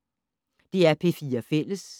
DR P4 Fælles